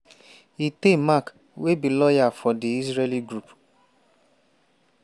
eitay mack wey be lawyer from di israeli group